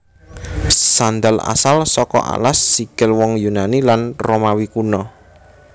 Sandal asal saka alas sikil wong Yunani lan Romawi Kuna